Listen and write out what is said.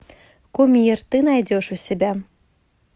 кумир ты найдешь у себя